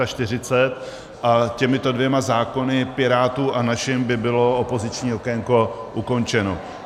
A těmito dvěma zákony, Pirátů a naším, by bylo opoziční okénko ukončeno.